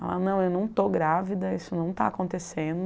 Ela, não, eu não estou grávida, isso não está acontecendo.